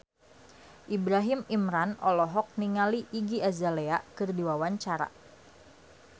Ibrahim Imran olohok ningali Iggy Azalea keur diwawancara